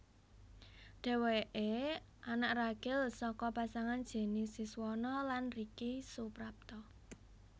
Dhèwèké anak ragil saka pasangan Jenny Siswono lan Ricky Suprapto